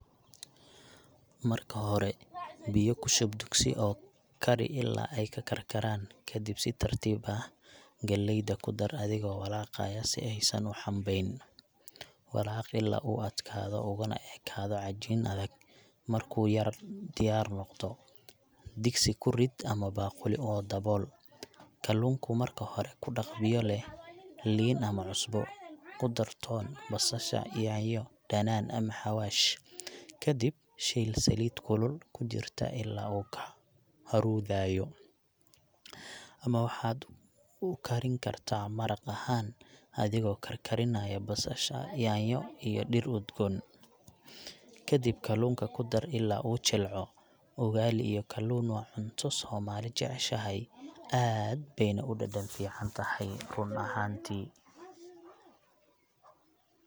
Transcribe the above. Marka hore, biyo ku shub digsi oo kari ilaa ay karkaraan. Kadib, si tartiib ah galleyda ku dar adigoo walaaqaya si aysan u xumbayn. Walaaq ilaa uu adkaado uguna ekaado cajiin adag. Markuu yar diyaar noqdo, digsi ku rid ama baaquli oo dabool. Kalluunku, marka hore ku dhaq biyo leh liin ama cusbo. Ku dar toon, basasha, yaanyo, dhanaan ama xawaash, kadib shiil saliid kulul ku jirta ilaa uu ka huruudayo. Ama waxaad u karin kartaa maraq ahaan adigoo karkarinaya basasha, yaanyo iyo dhir udgoon, kadib kalluunka ku dar ilaa uu jilco. Ugali iyo kalluun waa cunto Soomaali jeceshahay, aad bayna u dhadhan fiican tahay run ahantii.